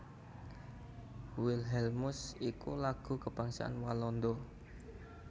Wilhelmus iku Lagu kabangsan Walanda